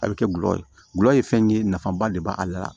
A bɛ kɛ gulɔ ye gulɔ ye fɛn ye nafaba de b'ale la